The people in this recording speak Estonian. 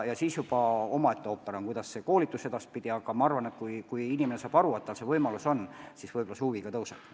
Juba omaette ooper on, kuidas see koolitus edaspidi peaks käima, aga ma arvan, et kui inimene saab aru, et tal see võimalus on, siis huvi ka kasvab.